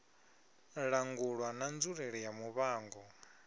langulwa na nzulele ya muvhango